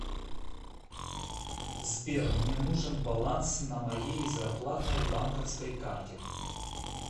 сбер мне нужен баланс на моей зарплатной банковской карте